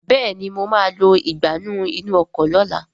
Béèni mọ má lọ Ìgbánú inú ọkọ̀ lọ̀la